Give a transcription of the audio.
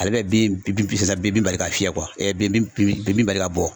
Ale bɛ bin bin bin bin bali ka fiyɛ bin bin bin bali ka bɔ.